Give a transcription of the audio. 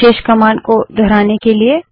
विशेष command को दोहराने के लिए